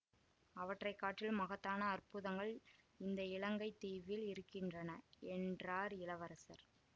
அவற்றை காட்டிலும் மகத்தான அற்புதங்கள் இந்த இலங்கை தீவில் இருக்கின்றன என்றார் இளவரசர்